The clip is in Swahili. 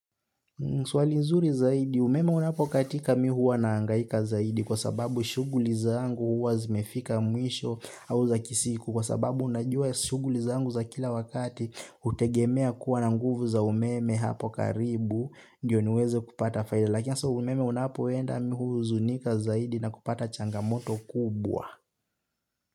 Swali nzuri zaidi, umeme unapokatika mimi huwa nahangaika zaidi kwa sababu shughuli zangu huwa zimefika mwisho au za kisiku kwa sababu unajua shughuli zangu za kila wakati, hutegemea kuwa na nguvu za umeme hapo karibu, ndio niweze kupata faida, lakini hasa umeme unapoenda mimi huhuzunika zaidi na kupata changamoto kubwa.